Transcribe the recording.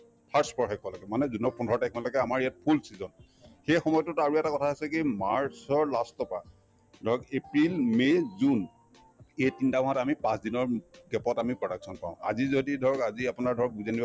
first পষেকলৈকে মানে june ৰ পোন্ধৰ তাৰিখমানলৈকে আমাৰ ইয়াত full season সেই সময়তোত আৰু এটা কথা আছে কি march ৰ last ৰ পৰা ধৰক april, may, june এই তিনটা মাহত আমি পাঁচদিনৰ মূ gap ত আমি production পাওঁ আজি যদি ধৰক আজি আপোনাৰ ধৰক